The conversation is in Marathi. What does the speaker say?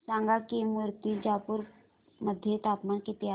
सांगा की मुर्तिजापूर मध्ये तापमान किती आहे